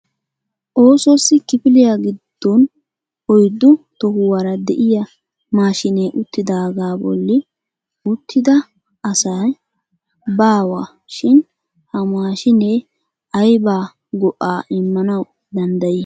Osos kifiliya giddon oyddu tohuwaara de'iyaa maashinee uttidaaga bolli uttida asai baawa shin ha maashine aybba go"a immanaw dandday ?